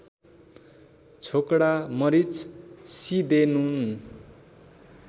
छोकडा मरिच सिदेनुन